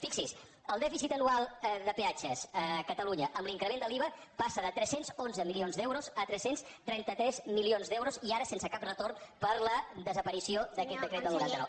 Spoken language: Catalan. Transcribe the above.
fixi’s el dèficit anual de peatges a catalunya amb l’increment de l’iva passa de tres cents i onze milions d’euros a tres cents i trenta tres milions d’euros i ara sense cap retorn per la desaparició d’aquest decret del noranta nou